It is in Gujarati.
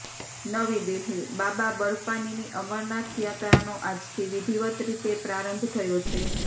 નવી દિલ્હીઃ બાબા બર્ફાનીની અમરનાથ યાત્રાનો આજથી વિધિવત્ રીતે પ્રારંભ થયો છે